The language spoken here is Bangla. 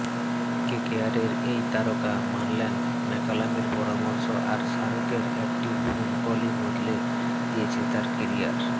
কেকেআরের এই তারকা মানলেন ম্যাকালামের পরামর্শ আর শাহরুখের একটি ফোন কলই বদলে দিয়েছে তার কেরিয়ার